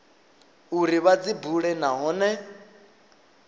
uri vha dzi bule nahone